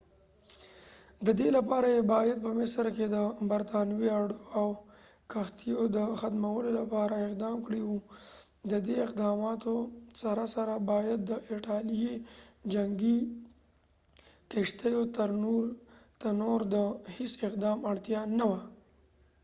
ددې لپاره یې باید په مصر کې د برطانوي اډو او کښتیو د ختمولو لپاره اقدام کړي و ددې اقداماتو سره سره باید د ایټالیې جنګی کښتیو ته نور د هیڅ اقدام اړتیا نه وه